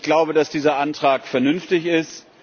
Ich glaube, dass dieser Antrag vernünftig ist.